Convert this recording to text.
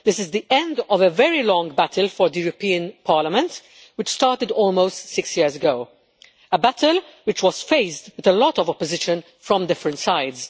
This is the end of a very long battle for the Parliament, which started almost six years ago, a battle which was faced with a lot of opposition from different sides.